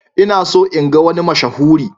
Ina so in ga wani mashahuri.